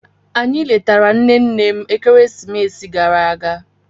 Anyị letara nne nne m ekeresimesi gara aga